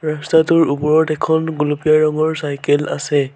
ৰাস্তাটোৰ ওপৰত এখন গুলপীয়া ৰঙৰ চাইকেল আছে।